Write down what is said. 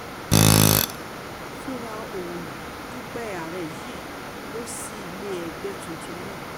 fúnra òǹdúpọ̀ ààrẹ yìí lọ sí ilé ẹgbẹ́ tuntun náà